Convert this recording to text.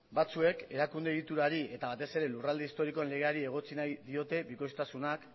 batzuek erakunde egiturari eta batez ere lurralde historikoen legeari egotzi nahi diote bikoiztasunak